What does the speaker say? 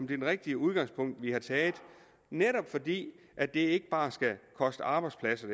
det rigtige udgangspunkt vi har taget netop fordi at det ikke bare skal koste arbejdspladser